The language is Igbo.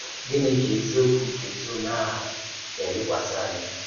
Gínị̀ kà “èzíòkwú nke òzì-òmà ahụ̀” na-èlèkwàsì ànyà?